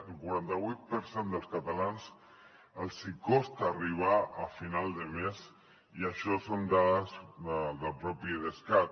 al quaranta vuit per cent dels catalans els hi costa arribar a final de mes i això són dades del propi idescat